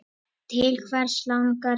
Til hvers langar þig?